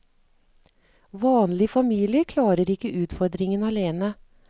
Vanlige familier klarer ikke utfordringen alene.